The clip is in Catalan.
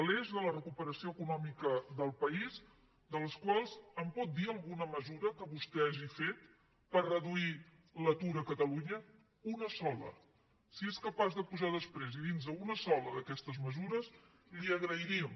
l’eix de la recuperació econòmica del país de les quals em pot dir alguna mesura que vostè hagi fet per reduir l’atur a catalunya una sola si és capaç de pujar després i dir nos una sola d’aquestes mesures li ho agrairíem